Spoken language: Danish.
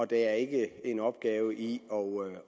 der er ikke en opgave i